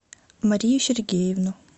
марию сергеевну